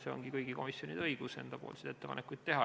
See ongi kõigi komisjonide õigus ettepanekuid teha.